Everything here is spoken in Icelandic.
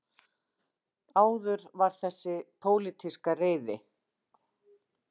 Áður var það þessi pólitíska reiði